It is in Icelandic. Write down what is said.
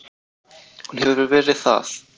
Hún hefur verið það.